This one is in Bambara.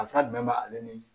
Danfara jumɛn b'ale ni